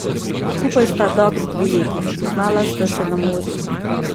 Skupaj sta dobri dve leti, spoznala sta se na morju.